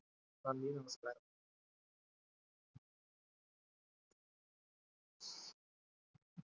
നന്ദി, നമസ്കാരം.